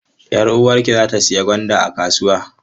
Yar uwarki za ta sayi gwanda a kasuwa?